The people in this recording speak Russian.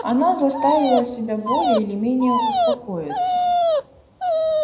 она заставила себя более или менее успокоиться